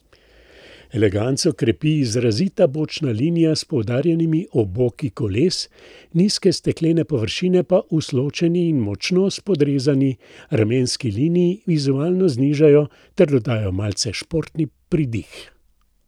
Eleganco krepi izrazita bočna linija s poudarjenimi oboki koles, nizke steklene površine pa usločeni in močno spodrezani ramenski liniji vizualno znižajo ter dodajo malce športni pridih.